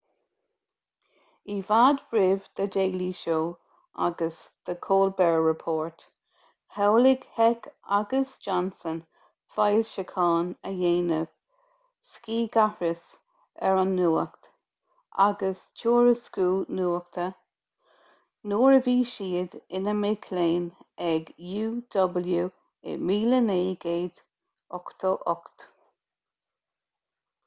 i bhfad roimh the daily show agus the colbert report shamhlaigh heck agus johnson foilseachán a dhéanamh scigaithris ar an nuacht agus tuairisciú nuachta-nuair a bhí siad ina mic léinn ag uw i 1988